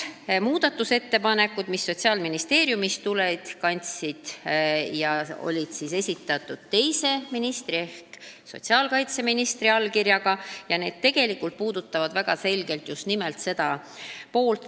Muudatusettepanekud, mis Sotsiaalministeeriumist tulid, kandsid aga teise ministri ehk sotsiaalkaitseministri allkirja, ja need ettepanekud puudutavad väga selgelt just nimelt seda poolt.